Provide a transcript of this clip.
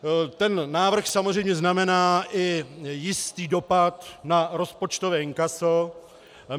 Ten návrh samozřejmě znamená i jistý dopad na rozpočtové inkaso.